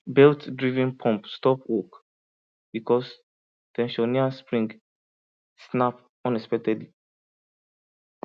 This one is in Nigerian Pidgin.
beltdriven pump stop work because ten sioner spring snap unexpectedly